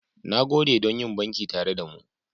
Na gode don yin banki tare da mu.